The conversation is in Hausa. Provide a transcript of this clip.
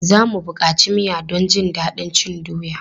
Za mu buƙaci miya don jin daɗin cin doya.